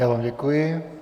Já vám děkuji.